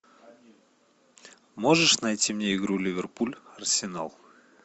можешь найти мне игру ливерпуль арсенал